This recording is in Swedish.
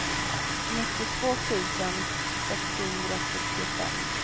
nittiotvå tusen sexhundrasjuttiofem